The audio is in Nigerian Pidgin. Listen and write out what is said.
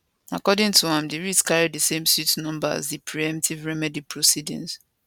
according to am di writ carry di same suit number as di preemptive remedy proceedings